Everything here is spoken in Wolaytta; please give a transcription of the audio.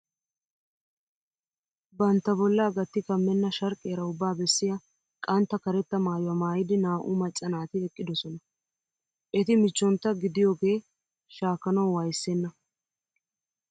Bantta bollaa gatti kammenna sharqqiyara ubbaa bessiya qantta karetta maayuwa maayidi naa"u macca naati eqqidosona. Eti michchontta gidiyoogee shaakkanawu wayssenna.